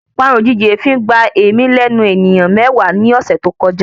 Parun ojìjijì èéfín gba èémí lẹ́nu èèyàn mewaa ni ọ̀sẹ̀ tọ́ kojá